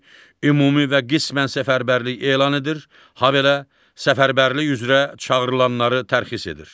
Ümumi və qismən səfərbərlik elan edir, habelə səfərbərlik üzrə çağırılanları tərxiz edir.